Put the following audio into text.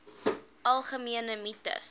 algemene mites